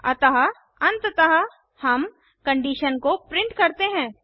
अतः अंततः हम कंडीशन को प्रिंट करते हैं